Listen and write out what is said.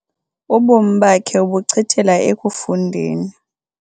Ubomi bakhe ubuchithela ekufundeni.